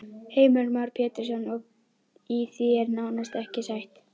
Heimir Már Pétursson: Og í því er nánast ekki stætt?